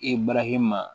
E barahima